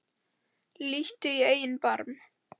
Líttu í eigin barm